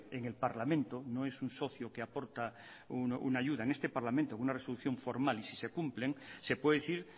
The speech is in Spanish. en el parlamento no es un socio que aporta una ayuda en este parlamento una resolución formal y sí se cumplen se puede decir